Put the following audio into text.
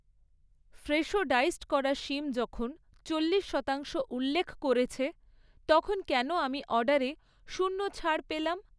Fresho diced করা শিম যখন চল্লিশ শতাংশ উল্লেখ করেছে তখন কেন আমি অর্ডারে শূন্য ছাড় পেলাম?